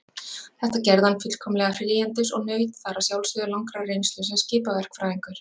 Þetta gerði hann fullkomlega fríhendis og naut þar að sjálfsögðu langrar reynslu sem skipaverkfræðingur.